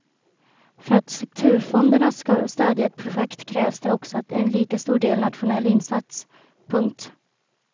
För att strukturfonderna ska stödja ett projekt krävs det också en lika stor nationell insats. punkt